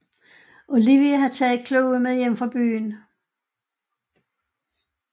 Olivia har taget Chloe med hjem fra byen